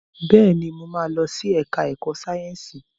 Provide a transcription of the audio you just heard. Bẹ́ẹ̀ni, mo ma lọ sí ẹ̀ká ẹ̀kọ́ Sáyẹ̀nsì